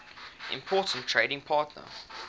important trading partner